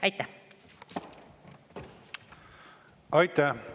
Aitäh!